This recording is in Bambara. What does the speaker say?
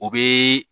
O bɛ